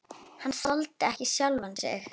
Hann þoldi ekki sjálfan sig.